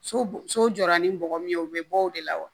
So so jɔra ni bɔgɔ min ye u bɛ bɔ o de la wa